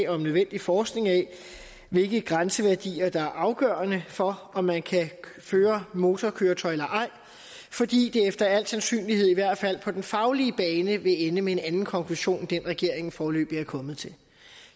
om nødvendigt forskning af hvilke grænseværdier der er afgørende for om man kan føre motorkøretøj eller ej fordi det efter al sandsynlighed i hvert fald på den faglige bane vil ende med en anden konklusion end den regeringen foreløbig er kommet til